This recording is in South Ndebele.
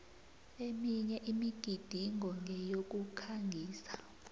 eminye imigidingo ngeyokukhangisa